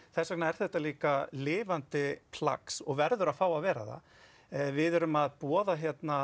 þessvegna er þetta líka lifandi plagg og verður að fá að vera það við erum að boða